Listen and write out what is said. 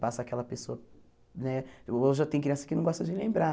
Passa aquela pessoa né... Hoje eu tenho criança que não gosta de lembrar.